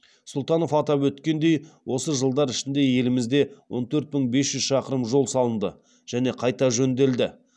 сұлтанов атап өткендей осы жылдар ішінде елімізде он төрт мың бес жүз шақырым жол салынды және қайта жөнделді